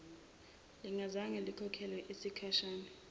lingazange likhokhelwe yisikhwama